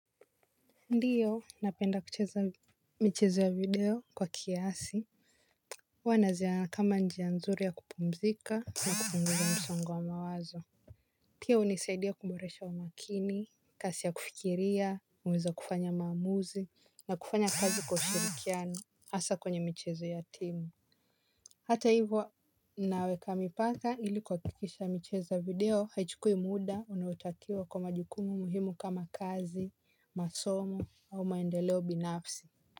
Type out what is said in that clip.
Ndiyo, napenda kucheza michezo ya video kwa kiasi. Huwa naziona kama njia nzuri ya kupumzika na kupunguza msongo wa mawazo. Pia hunisaidia kuboresha umakini, kasi ya kufikiria, uwezo wa kufanya maamuzi, na kufanya kazi kwa ushirikiano, hasa kwenye michezo ya timu. Hata hivyo, naweka mipaka ili kuakikisha mcheza video haichukui muda unaotakiwa kwa majukumu muhimu kama kazi, masomo au maendeleo binafsi.